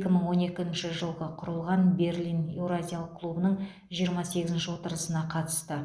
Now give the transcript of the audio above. екі мың он екінші жылы құрылған берлин еуразиялық клубының жиырма сегізінші отырысына қатысты